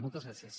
moltes gràcies